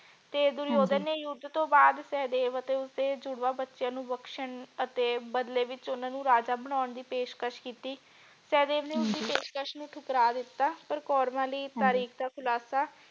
ਤੇ ਹਾਂਜੀ ਦੁਰਯੋਧਨ ਨੇ ਯੁੱਧ ਤੋਂ ਬਾਦ ਸਹਿਦੇਵ ਅਤੇ ਉਸਦੇ ਜੁੜਵਾ ਬੱਚਿਆਂ ਨੂੰ ਬਖਸ਼ਣ ਅਤੇ ਬਦਲੇ ਵਿਚ ਉਨ੍ਹਾਂ ਨੂੰ ਰਾਜਾ ਬਣਾਉਣ ਦੀ ਪੇਸ਼ਕਸ਼ ਕੀਤੀ ਸਹਿਦੇਵ ਨੇ ਹਾਂਜੀ ਉਸਦੀ ਪੇਸ਼ਕਸ਼ ਨੂੰ ਠੁਕਰਾ ਦਿਤਾ ਪਰ ਕੌਰਵਾਂ ਲਈ ਹਾਂਜੀ ਤਾਰੀਕ ਦਾ ਖੁਲਾਸਾ।